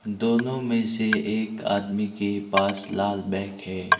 दोनों में से एक आदमी के पास लाल बैग है।